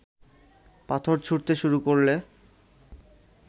পাথর ছুঁড়তে শুরু করলে